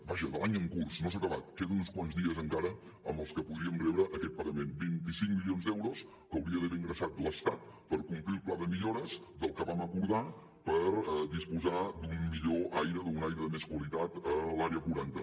vaja de l’any en curs no s’ha acabat queden uns quants dies encara en els que podríem rebre aquest pagament vint cinc milions d’euros que hauria d’haver ingressat l’estat per complir el pla de millores del que vam acordar per disposar d’un millor aire d’un aire de més qualitat a l’àrea quaranta